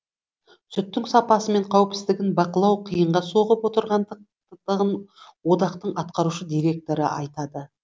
сүттің сапасы мен қауіпсіздігін бақылау қиынға соғып отырғандығын одақтың атқарушы директоры айтады